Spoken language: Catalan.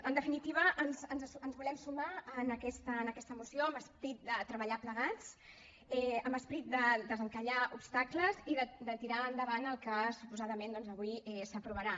en definitiva ens volem sumar a aquesta moció amb esperit de treballar plegats amb esperit de desencallar obstacles i de tirar endavant el que suposadament doncs avui s’aprovarà